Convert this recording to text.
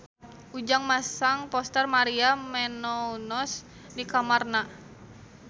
Ujang masang poster Maria Menounos di kamarna